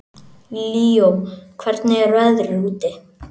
Líó, hvernig er veðrið úti?